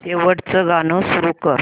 शेवटचं गाणं सुरू कर